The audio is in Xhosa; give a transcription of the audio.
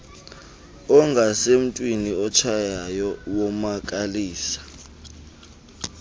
ungasemntwini otshayayo womakalisa